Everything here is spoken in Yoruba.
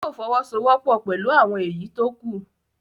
Yóò fọwọ́sowọ́pọ̀ pẹ̀lú àwọn èyí tó kú